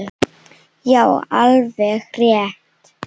Já, alveg rétt.